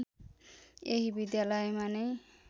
यही विद्यालयमा नै